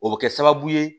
O bɛ kɛ sababu ye